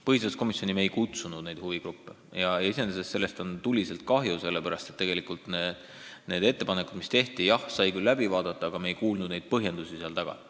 Põhiseaduskomisjoni me huvigruppe ei kutsunud, millest on iseenesest tuliselt kahju: me küll vaatasime läbi need ettepanekud, mis tehti, aga me ei kuulnud põhjendusi nende taga.